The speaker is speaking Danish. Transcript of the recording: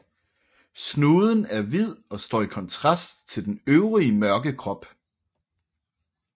Snuden er hvid og står i kontrast til den øvrige mørke krop